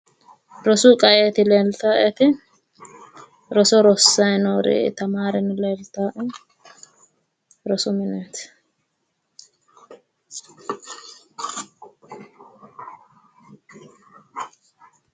Rosu qa"eeti leeltaawoeti, roso rossaatino tamaare leeltaae rosu mineeti